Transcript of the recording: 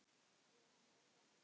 Yfir henni er ljómi.